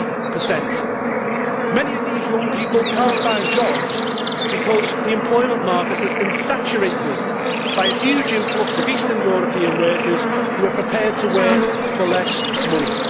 40. Many of these young people cannot find jobs because the employment market has been saturated by a huge influx of Eastern European workers who are prepared to work for less money.